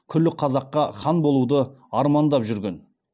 күллі қазаққа хан болуды армандап жүрген